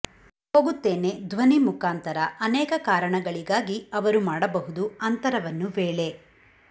ಹೋಗುತ್ತೇನೆ ಧ್ವನಿ ಮುಖಾಂತರ ಅನೇಕ ಕಾರಣಗಳಿಗಾಗಿ ಅವರು ಮಾಡಬಹುದು ಅಂತರವನ್ನು ವೇಳೆ